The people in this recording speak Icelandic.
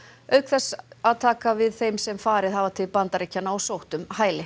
auk þess að taka við þeim sem farið hafa til Bandaríkjanna og sótt um hæli